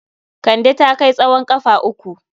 Kande ta kai tsowon ƙafa uku.